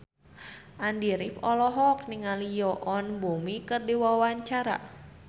Andy rif olohok ningali Yoon Bomi keur diwawancara